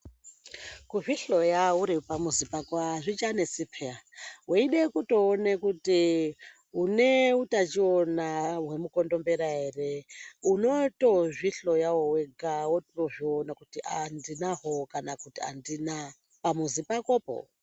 Kuzvihloya uripamuzi pako hazvichanesi peya. Weide kutoone kuti une utachiona hwemukondombera ere unotozvihloyawo wega wotozviona kuti ah, ndinahwo kana kuti handina, pamuzi pakopo.